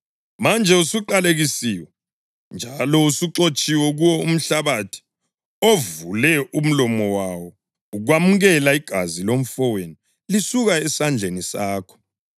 Manje usuqalekisiwe njalo usuxotshiwe kuwo umhlabathi ovule umlomo wawo ukwamukela igazi lomfowenu lisuka esandleni sakho.